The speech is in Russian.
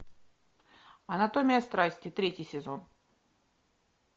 анатомия страсти третий сезон